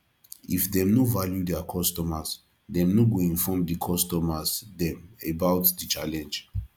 if dem no value their customers dem no go inform di customers dem about the challenge